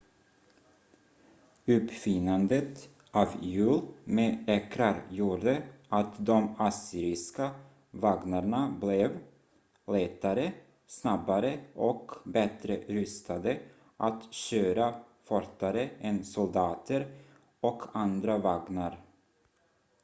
uppfinnandet av hjul med ekrar gjorde att de assyriska vagnarna blev lättare snabbare och bättre rustade att köra fortare än soldater och andra vagnar